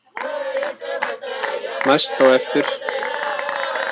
Næst á eftir